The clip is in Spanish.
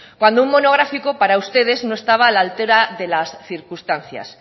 cuando un monográfico para ustedes no estaba a la altura de las circunstancias